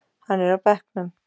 Hann er á bekknum.